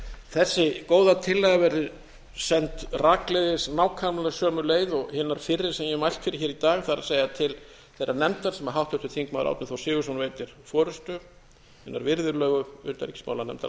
þessi góða tillaga verði send rakleiðis nákvæmlega sömu leið og hinar fyrri sem ég hef mælt fyrir hér í dag það er til þeirrar nefndar sem háttvirtur þingmaður árni þór sigurðsson veitir forustu hinnar virðulegu utanríkismálanefndar